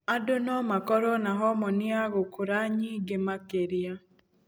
Andũ no makorwo na homoni ya gũkũra nyingĩ makĩria.